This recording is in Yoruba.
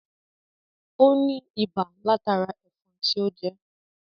Ó ní ibà látara ẹ̀fọn tí ó jẹ́